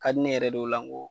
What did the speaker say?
Hali ne yɛrɛ de y'o la n ko